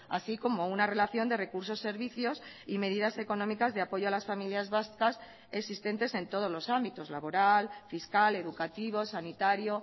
así como una relación de recursos servicios y medidas económicas de apoyo a las familias vascas existentes en todos los ámbitos laboral fiscal educativo sanitario